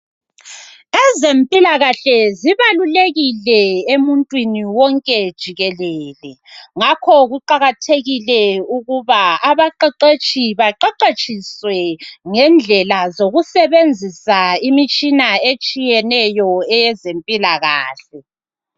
Ezempilakahle zibalulekile emuntwini wonke jikelele ngakho kuqakathekile ukuba abaqeqetshi baqeqetshiswe ngendlela zokusebenzisa imitshina etshiyeneyo eyezempilakahle.